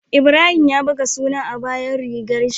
Ibrahim ya buga suna a bayan rigar shi